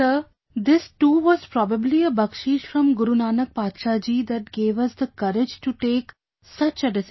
Sir, this too was probably a Bakshish from Guru Nanak Badshah ji that gave us the courage to take such a decision